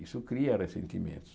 Isso cria ressentimentos.